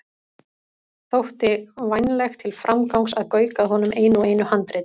Þótti vænlegt til framgangs að gauka að honum einu og einu handriti.